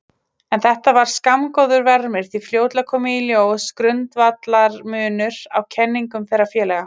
En þetta var skammgóður vermir því fljótlega kom í ljós grundvallarmunur á kenningum þeirra félaga.